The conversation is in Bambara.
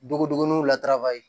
Dogodugoniw latara ye